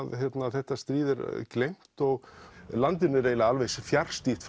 þetta stríð er gleymt og landinu er fjarstýrt